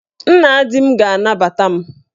Nna di m ga-anabata m.